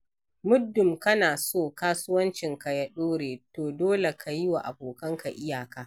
Muddun kana so kasuwancinka ya ɗore, to dole ka yi wa abokanka iyaka.